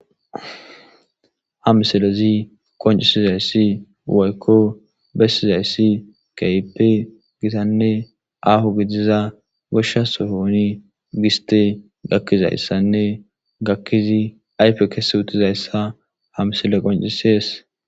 Ha msilezi qoncisizayssi woykko bessizayssi kaype gitanne ahu gidiza goshsha soyooni giste gakkizayssanne gakkizi aype kese utizayssa hamsile qoncisees.